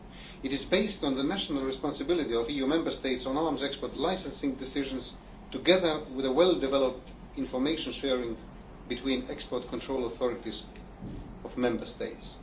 It is based on the national responsibility of EU Member States on arms export licensing decisions, together with well developed information sharing between the export control authorities of Member States.